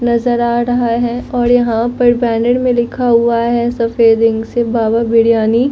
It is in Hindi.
नजर आ रहा है और यहां पर बैनर में लिखा हुआ है सफेद इंक से बाबा बिरयानी--